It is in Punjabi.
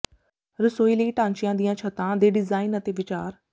ਰਸੋਈ ਲਈ ਢਾਂਚਿਆਂ ਦੀਆਂ ਛੱਤਾਂ ਦੇ ਡਿਜ਼ਾਇਨ ਅਤੇ ਵਿਚਾਰ